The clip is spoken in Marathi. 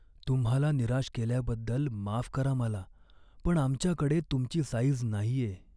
तुम्हाला निराश केल्याबद्दल माफ करा मला पण आमच्याकडे तुमची साईझ नाहीये.